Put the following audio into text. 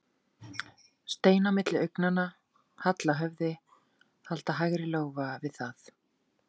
Stein á milli augnanna, halla höfði, halda hægri lófa við það.